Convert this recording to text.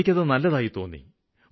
എനിയ്ക്കത് നല്ലതായി തോന്നി